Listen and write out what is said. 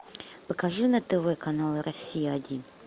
покажи на тв канал россия один